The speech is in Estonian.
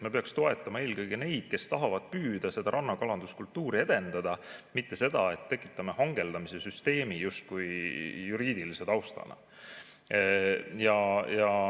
Me peaks toetama eelkõige neid, kes tahavad püüda, rannakalanduskultuuri edendada, mitte ei peaks tekitama hangeldamise süsteemi justkui juriidilise taustana.